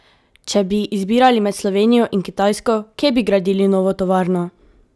Če bi izbirali med Slovenijo in Kitajsko, kje bi gradili novo tovarno?